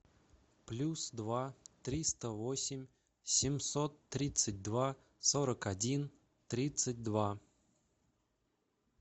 плюс два триста восемь семьсот тридцать два сорок один тридцать два